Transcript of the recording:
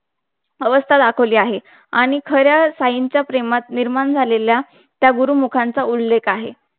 अवस्था दाखवली आहे. आणि खऱ्या साईंच्या प्रेमात निर्माण झालेल्या. त्या गुरुमुखांचा उल्लेख आहे